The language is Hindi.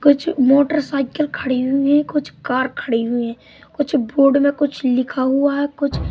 कुछ मोटरसाइकिल खड़ी हुई है कुछ कार खड़ी हुई है कुछ बोर्ड में कुछ लिखा हुआ है कुछ--